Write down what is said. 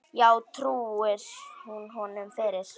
Já, trúir hún honum fyrir.